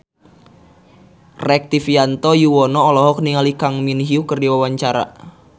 Rektivianto Yoewono olohok ningali Kang Min Hyuk keur diwawancara